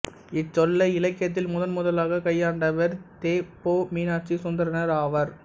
இச்சொல்லை இலக்கியத்தில் முதன்முதலாகக் கையாண்டவர் தெ பொ மீனாட்சி சுந்தரனார் ஆவார்